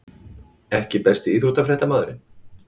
EKKI besti íþróttafréttamaðurinn?